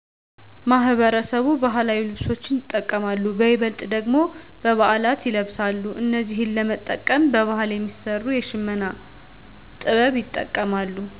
ማህበረሰቡ ባህላዊ ልብሶችን ይጠቀማሉ በይበልጥ ደግሞ በበዓላት ይለበሳሉ እነዚህን ለመጠቀም በባህል የሚሰሩ የሽመና ጥበብ ይጠቀማሉ